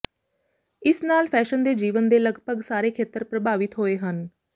ਇਸ ਨਾਲ ਫੈਸ਼ਨ ਦੇ ਜੀਵਨ ਦੇ ਲਗਭਗ ਸਾਰੇ ਖੇਤਰ ਪ੍ਰਭਾਵਿਤ ਹੋਏ ਹਨ